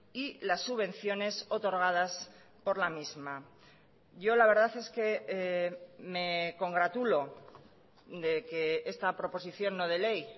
y las subvenciones otorgadas por la misma yo la verdad es que me congratulo de que esta proposición no de ley